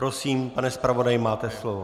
Prosím, pane zpravodaji, máte slovo.